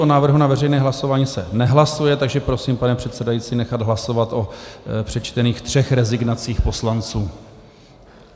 O návrhu na veřejné hlasování se nehlasuje, takže prosím, pane předsedající, nechat hlasovat o přečtených třech rezignacích poslanců.